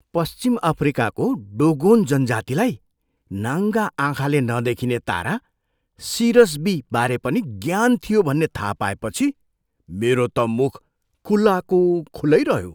पश्चिम अफ्रिकाको डोगोन जनजातिलाई नाङ्गा आँखाले नदेखिने तारा, सिरस बीबारे पनि ज्ञान थियो भन्ने थाहा पाएपछि मेरो त मुख खुलाको खुलै रह्यो।